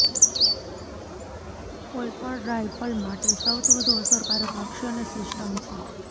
કોઈપણ રાયફલ માટે સૌથી વધુ અસરકારક લક્ષ્યને સિસ્ટમ છે